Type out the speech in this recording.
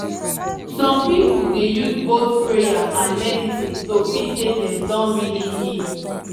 some people dey use both prayer and medicine to feel say dem don really heal